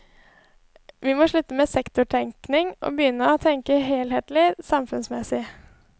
Vi må slutte med sektortenkning, og begynne å tenke helhetlig samfunnsmessig.